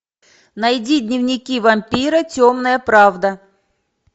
найди дневники вампира темная правда